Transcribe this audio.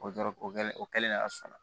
O dɔrɔn o kɛlen o kɛlen ne y'a sɔnna